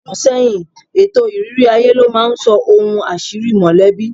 Ogún ọdún sẹ́yìn, ètò ìrírí aye ló máa ń sọ ohun àṣírí mọ̀lẹ́bí